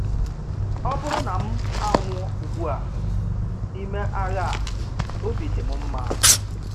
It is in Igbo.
Ọ bụrụ na m anwụ ugbu a n’ime agha a, obi dị m mma.